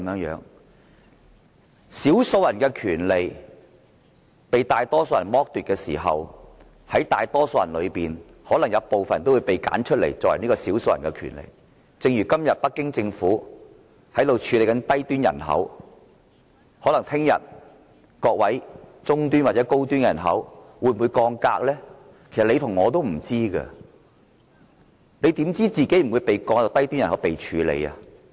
當少數人的權利被大多數人剝奪時，在大多數人之中可能也會有部分人被挑選出來成為少數人，正如今天北京政府處理低端人口的做法，明天可能中端或高端人口亦會遭降格，其實你和我都不知道，你怎知道自己不會被降為低端人口呢？